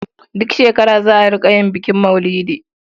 Duk shekara za a rƙa yin bukin maulidi.